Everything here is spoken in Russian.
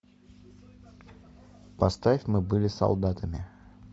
поставь мы были солдатами